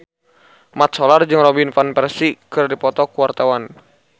Mat Solar jeung Robin Van Persie keur dipoto ku wartawan